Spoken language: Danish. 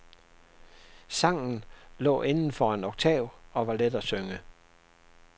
Sangen lå inden for en oktav og var let at synge.